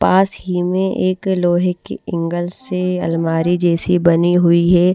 पास ही में एक लोहे की इंगल से अलमारी जैसी बनी हुई है ।